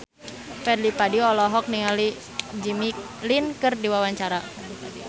Fadly Padi olohok ningali Jimmy Lin keur diwawancara